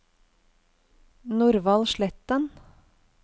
Norvald Sletten